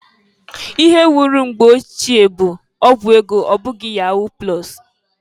Ihe wuru mgbe ochie bu ọgwụ ego ọbụghị yahu plọs.